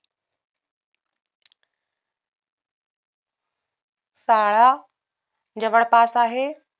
शाळा जवळपास आहे